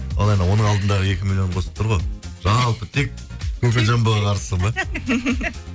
ол енді оның алдындағы екі миллионды қосып тұр ғой жалпы тек кокоджамбоға